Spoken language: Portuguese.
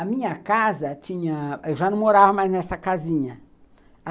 A minha casa tinha... Eu já não morava mais nessa casinha.